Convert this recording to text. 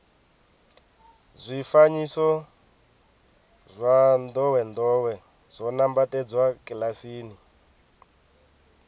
zwifanyiso zwa ndowendowe zwo nambatsedzwa kilasini